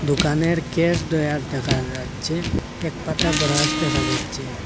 দোকানের cash drawer দেখা যাচ্ছে এক পাতা ব্রাশ দেখা যাচ্ছে।